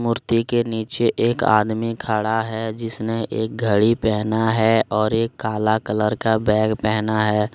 मूर्ति के नीचे एक आदमी खड़ा है जिसने एक घड़ी पहना है और एक काला कलर का बैग पहना है।